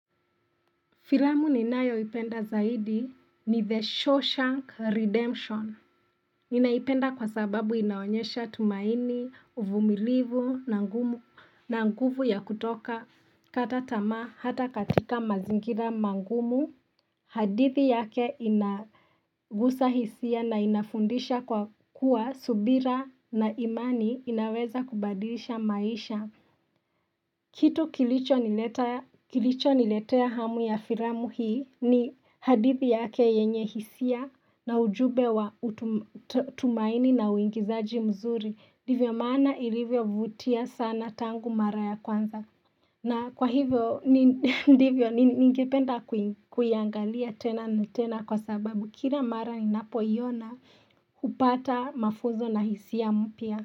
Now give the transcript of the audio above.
Filamu ninayoipenda zaidi ni The Shawshank Redemption. Inaipenda kwa sababu inaonyesha tumaini, uvumilivu, na ngumu na nguvu ya kutoka katatama hata katika mazingira mangumu. Hadithi yake inagusa hisia na inafundisha kwa kuwa subira na imani inaweza kubadilisha maisha. Kitu kilicho niletea hamu ya firamu hii ni hadithi yake yenye hisia na ujube wa utumaini na uingizaji mzuri. Ndivyo maana ilivyovutia sana tangu mara ya kwanza. Na kwa hivyo, ndivyo ningependa kuiangalia tena na tena kwa sababu. Kila mara ninapoiona upata mafuzo na hisia mpia.